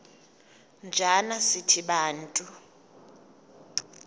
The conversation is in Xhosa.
njana sithi bantu